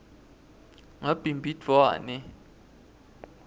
ngabhimbidvwane